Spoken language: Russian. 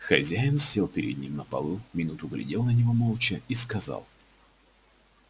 хозяин сел перед ним на полу минуту глядел на него молча и сказал